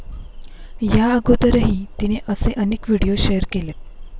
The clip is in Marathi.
या अगोदरही तिने असे अनेक व्हिडिओ शेअर केलेत.